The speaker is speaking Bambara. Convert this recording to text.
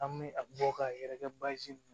An bɛ a bɔ ka yɛrɛkɛ baasi dun